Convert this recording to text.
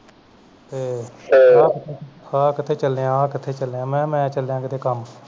ਤੇ ਹਾਂ ਕਿਥੇ ਚਲਿਆ ਹਾਂ ਕਿਥੇ ਚਲਿਆ ਮੈਂ ਕਿਹਾ ਮੈਂ ਚਲਿਆ ਕਿਸੇ ਕੰਮ